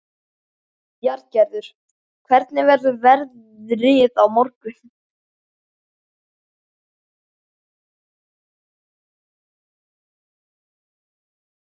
Bjarngerður, hvernig verður veðrið á morgun?